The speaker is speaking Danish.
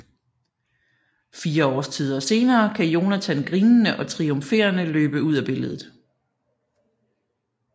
Fire årstider senere kan Jonathan grinende og triumferende løbe ud af billedet